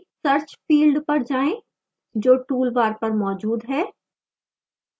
search field field पर जाएं जो toolbar पर मौजूद है